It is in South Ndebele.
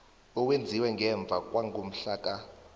owenziwe ngemva kwangomhlaka